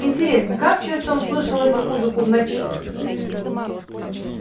интересно как часто он слышал эту музыку в ночи